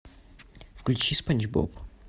включи спанч боб